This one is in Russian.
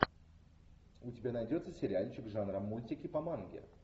у тебя найдется сериальчик жанра мультики по манге